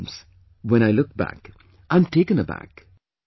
At times, when I look back, I am taken aback